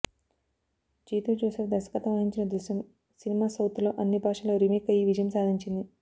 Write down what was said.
జీతు జోసెఫ్ దర్శకత్వం వహించిన దృశ్యం సినిమా సౌత్ లో అన్ని భాషల్లో రీమేక్ అయ్యి విజయం సాధించింది